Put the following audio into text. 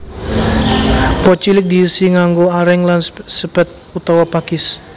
Pot cilik diisi nganggo areng lan sepet utawa pakis